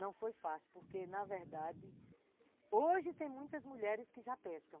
Não foi fácil, porque na verdade, hoje tem muitas mulheres que já pescam.